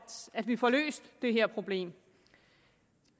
vi får løst det her problem